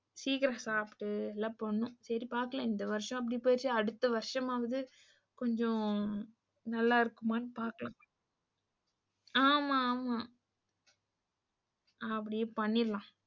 சீக்கிரம் சாப்ட்டு எல்லாம் பண்ணனும். சரி பாக்கலாம். இந்த வருஷம் அப்படி போச்சு, அடுத்த வருஷமாவது கொஞ்சம் நல்லா இருக்குமான்னு பாக்கலாம். ஆமாஆமா அப்படியே பண்ணிரலாம்.